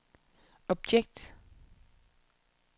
objekt